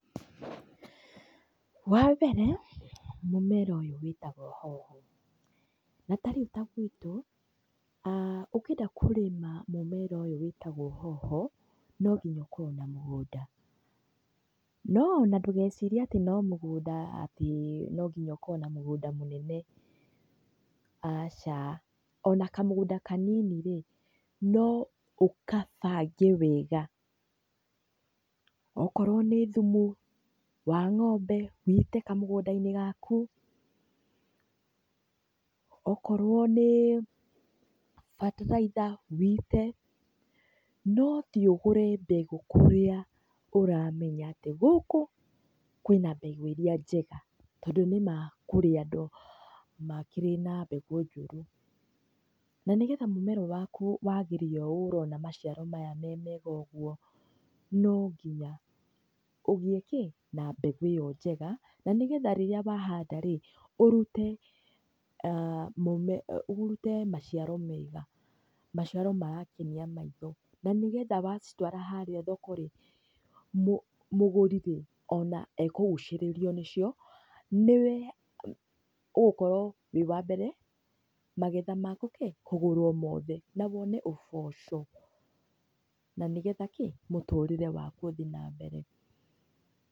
Wa mbere mũmera ũyũ wĩtagwo hoho, na tarĩu ta gwitũ a ũkĩenda kũrĩma mũmera ũyũ wĩtagwo hoho nonginya ũkorwo na mũgũnda. No ona ndũgecirie atĩ no mũgũnda atĩ no nginya ũkorwo na mũgũnda mũnene, aca, ona kamũgũnda kanini rĩ no ũkabange wega. Ũkorwo nĩ thumu wa ng'ombe wũite kamũgũnda-inĩ gaku, ũkorwo nĩ bataraitha wũite, no ũthĩĩ ũgũre mbegũ kũrĩa ũramenya atĩ gũkũ kwĩna mbegũ iria njega, tondũ nĩ ma kũrĩ andũ makĩrĩ na mbegũ njũru. Na nĩgetha mũmera waku wagĩre ũũ ũrona macĩaro maya me mega ũguũ, no nginya ũgĩe na mbegũ ĩyo njega, na nĩgetha rĩrĩa wahanda rĩ ũrute maciaro mega, maciaro marakenia maitho. Na nĩgetha wacitwara harĩa thoko-rĩ mũgũri-rĩ ona ekũgucĩrĩrio nĩcio nĩwe ũgũkorwo wĩ wa mbere magetha maku kĩ kũgũrwo mothe na wone ũboco na nĩgetha kĩ mũtũrĩre waku ũthĩ na mbere.